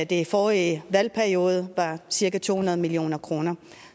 det i forrige valgperiode var cirka to hundrede million kroner